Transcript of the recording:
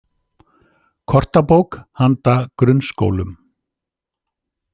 Kortabók handa grunnskólum.